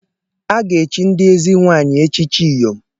A ga-echi ndị ezi nwaanyị echichi Iyom.